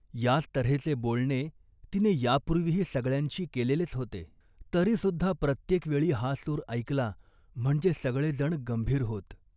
याच तऱ्हेचे बोलणे तिने यापूर्वीही सगळ्यांशी केलेलेच होते. तरीसुद्धा प्रत्येक वेळी हा सूर ऐकला म्हणजे सगळेजण गंभीर होत